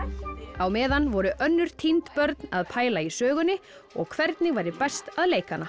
á meðan voru önnur týnd börn að pæla í sögunni og hvernig væri best að leika hana